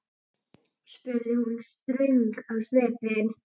spurði hún ströng á svipinn.